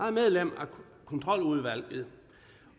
er medlem af kontroludvalget